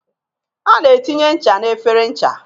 A na etinye ncha n'efere ncha.